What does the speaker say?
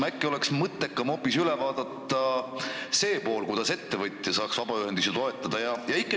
Äkki oleks mõttekam vaadata üle hoopis see pool, kuidas ettevõtja saaks vabaühendusi toetada?